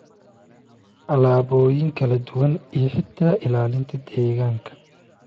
alaabooyin kala duwan iyo xitaa ilaalinta deegaanka.